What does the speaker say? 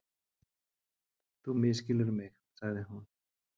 Þú misskilur mig- sagði hún.